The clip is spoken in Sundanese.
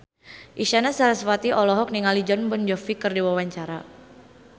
Isyana Sarasvati olohok ningali Jon Bon Jovi keur diwawancara